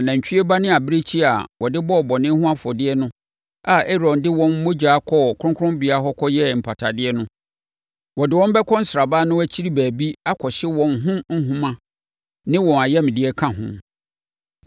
Na nantwie ba ne abirekyie a wɔde bɔɔ bɔne ho afɔdeɛ no a Aaron de wɔn mogya kɔɔ kronkronbea hɔ kɔyɛɛ mpatadeɛ no, wɔde wɔn bɛkɔ sraban no akyiri baabi akɔhye a wɔn ho nhoma ne wɔn ayamdeɛ ka ho.